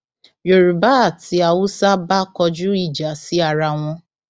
yorùbá àti haúsá bá kọjú ìjà sí ara wọn